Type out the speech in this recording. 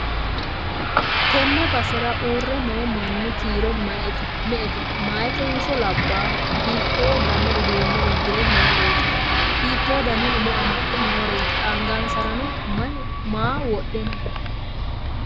tenne basera uurre noo manni kiiro me'ete? meyaatenso labballoho? hiitto dani uduunne uddi're nooreeti? hiitto dani umo amaxxe nooreeti? angansara maa wodhe no?